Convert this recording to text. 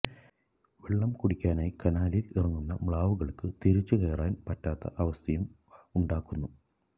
വെള്ളം കുടിക്കാനായി കനാലില് ഇറങ്ങുന്ന മ്ലാവുകള്ക്ക് തിരിച്ചുകയറാന് പറ്റാത്ത അവസ്ഥയും ഉണ്ടാകുന്നു